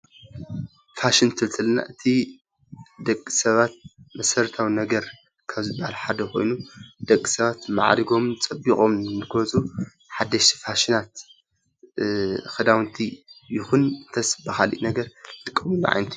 ፋሽን ክንብል እንተለና እቲ ደቂ ሰባት መሰረታዊ ነገር ካብ ዝበሃል ሓደ ኮይኑ፣ ደቂ ሰባት ማዕሪጎምን ፀቢቆምን ንክወፁ ሓደሽቲ ፋሽናት ክዳውንቲ ይኩን እንተስ ብካሊእ ነገር ዝጥቀምሉ ዓይነት እዩ።